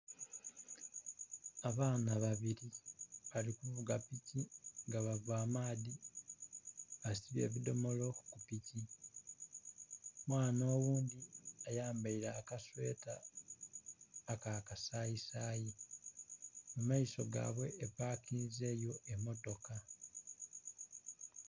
Abaana babiri bali kuvuga piki nga bava amaadhi, besibye ebidhomolo ku piki, omwana oghundhi ayambaire akasweta akakasayisayi mumaiso gaibwe epakinzeyo emotoka.